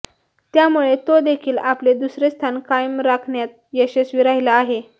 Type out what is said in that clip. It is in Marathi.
त्यामुळे तो देखील आपले दुसरे स्थान कायम राखण्यात यशस्वी राहिला आहे